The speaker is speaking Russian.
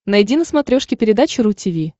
найди на смотрешке передачу ру ти ви